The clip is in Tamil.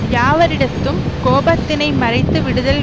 யாவரிடத்தும் கோபத்தினை மறந்து விடுதல்